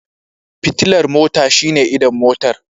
Fitilar mota shine idon Motar.